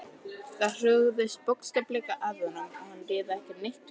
Það hrúgaðist bókstaflega að honum og hann réði ekki neitt við neitt.